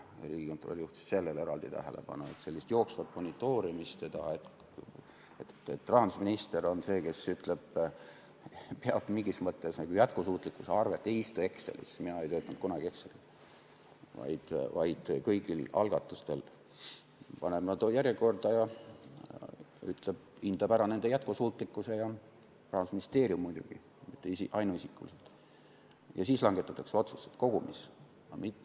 Riigikontroll juhtis eraldi tähelepanu jooksvale monitoorimisele, sellele, et rahandusminister on see, kes peab mingis mõttes nagu jätkusuutlikkuse arvet ega istu Excelis , vaid paneb kõik algatused järjekorda, hindab ära nende jätkusuutlikkuse – Rahandusministeerium muidugi, mitte minister ainuisikuliselt – ja siis langetatakse otsused kogumis.